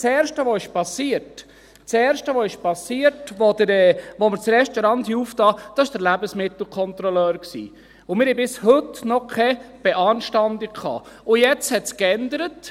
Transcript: Das Erste, was geschehen ist, als wir das Restaurant eröffnet hatten, war der Besuch des Lebensmittelkontrolleurs, und wir haben bis heute noch keine Beanstandung erhalten.